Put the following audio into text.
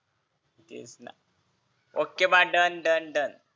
तेच ना okay bye done done